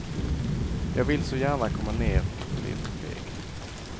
Jag vill så gärna komma ner och blir för feg.